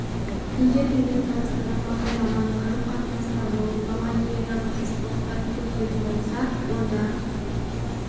егер менің таныстарым маған жаман қарым-қатынаста болып маған деген жағымсыз қылықтарын көрсететін болса онда